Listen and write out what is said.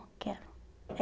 Eu quero.